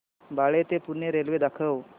बाळे ते पुणे रेल्वे दाखव